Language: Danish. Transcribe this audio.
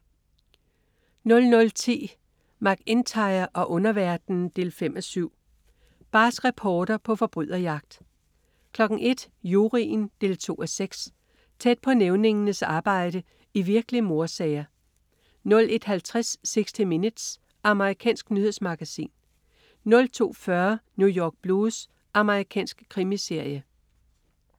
00.10 MacIntyre og underverdenen 5:7. Barsk reporter på forbryderjagt 01.00 Juryen 2:6. Tæt på nævningernes arbejde i virkelige mordsager 01.50 60 Minutes. Amerikansk nyhedsmagasin 02.40 New York Blues. Amerikansk krimiserie